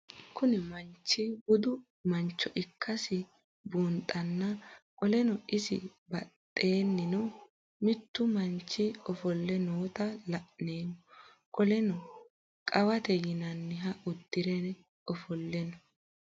Kuni mannich budu manncho ikasi bunxana qoleno is baxenino mitu manncho ofoole noota la'nemo qoleno qawete yinaniha udire ofoole no?